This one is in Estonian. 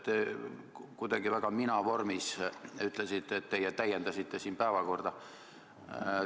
Te kuidagi väga mina-vormis ütlesite, et teie täiendasite päevakorda.